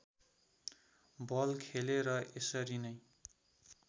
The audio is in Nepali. बल खेले र यसरी नै